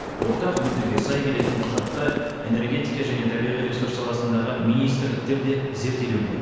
ортақ мүддеге сай келетін құжатты энергетика және табиғи ресурс саласындағы министрліктер де зерделеуде